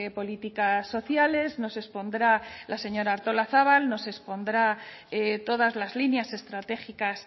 políticas sociales nos expondrá la señora artolazabal nos expondrá todas las líneas estratégicas